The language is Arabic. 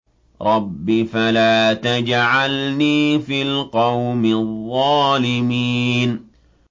رَبِّ فَلَا تَجْعَلْنِي فِي الْقَوْمِ الظَّالِمِينَ